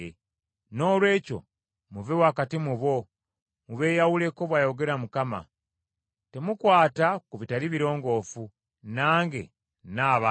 Noolwekyo “muve wakati mu bo, mubeeyawuleko, bw’ayogera Mukama. Temukwata ku bitali birongoofu, nange nnaabaaniriza.”